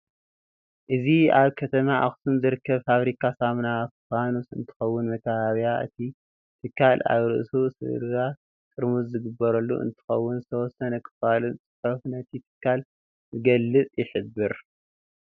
እዚ አብ ከተማ አክሱም ዝርከብ ፋብሪካ ሳሙና ፋኑስ እንትኸውን መካበቢያ እቲ ትካል አብ ርእሱ ስብርባር ጥርሙዝ ዝተገበረሉ እንትኸውን ዝተወሰነ ክፋሉን ፅሑፋ ነቲ ትካል ዝገልፅን ይሕብር።